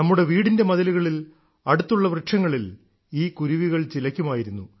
നമ്മുടെ വീടിന്റെ മതിലുകളിൽ അടുത്തുള്ള വൃക്ഷങ്ങളിൽ ഈ കുരുവികൾ ചിലയ്ക്കുമായിരുന്നു